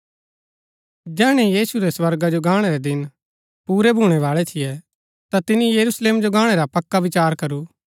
जैहणै यीशु रै स्वर्गा जो गाणै रै दिन पुरै भूणै बाळै थियै ता तिनी यरूशलेम जो गाहणै रा पक्का विचार करू